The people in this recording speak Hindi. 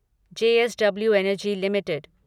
JSW energy limited